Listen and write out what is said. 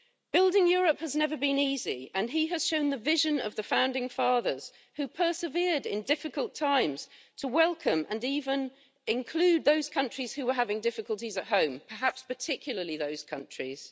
Building Europe has never been easy and he has shown the vision of the founding fathers, who persevered in difficult times to welcome and even include those countries which were having difficulties at home, perhaps particularly those countries.